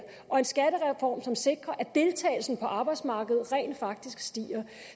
og en skattereform som sikrer at deltagelsen på arbejdsmarkedet rent faktisk stiger